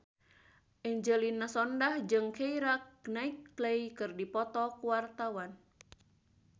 Angelina Sondakh jeung Keira Knightley keur dipoto ku wartawan